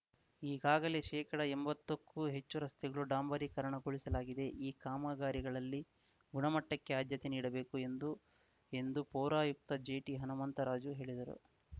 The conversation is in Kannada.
ಈಗಾಗಲೇ ಶೇಕಡಎಂಬತ್ತಕ್ಕೂ ಹೆಚ್ಚು ರಸ್ತೆಗಳನ್ನು ಡಾಂಬರೀಕರಣಗೊಳಿಸಲಾಗಿದೆ ಈ ಕಾಮಗಾರಿಗಳಲ್ಲಿ ಗುಣಮಟ್ಟಕ್ಕೆ ಆದ್ಯತೆ ನೀಡಬೇಕು ಎಂದು ಎಂದು ಪೌರಾಯುಕ್ತ ಜೆಟಿಹನುಮಂತರಾಜು ಹೇಳಿದರು